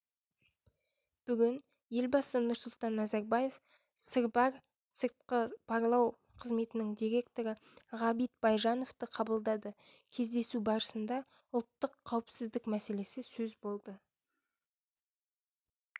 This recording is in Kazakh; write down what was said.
бүгін елбасы нұрсұлтан назарбаев сырбар сыртқы барлау қызметінің директоры ғабит байжановты қабылдады кездесу барысында ұлттық қауіпсіздік мәселесі сөз болды